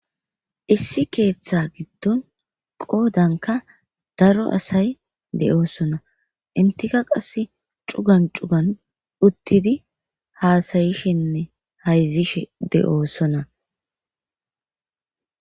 issi keeththa giddon qoodanka daro asay de'oosona intika qass cugan cugan uttidi haasayishinne hayzishe de'oosona.